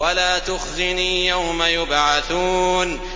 وَلَا تُخْزِنِي يَوْمَ يُبْعَثُونَ